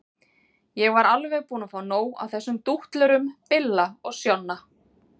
Ég var alveg búin að fá nóg af þessum dútlurum Billa og Sjonna.